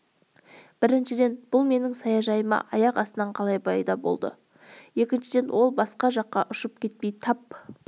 біріншіден бұл менің саяжайымда аяқ астынан қалай пайда болды екіншіден ол басқа жаққа ұшып кетпей тап